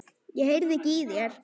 Ég heyrði ekki í þér.